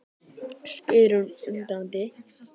spyr hún undrandi.